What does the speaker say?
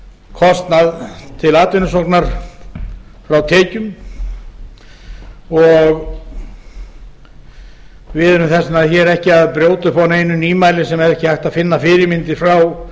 kostnað til atvinnusóknar frá tekjum og við erum þess vegna ekki að brjóta upp á neinu nýmæli sem ekki er hægt að finna nein fyrirmyndir frá